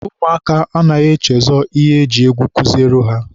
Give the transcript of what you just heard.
ụmụaka anaghị echezọ ihe e ji egwu kuziere ha.